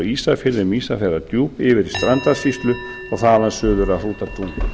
ísafirði um ísafjarðardjúp yfir til strandasýslu og þaðan suður að hrútatungu